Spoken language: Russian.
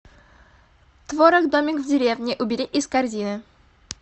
творог домик в деревне убери из корзины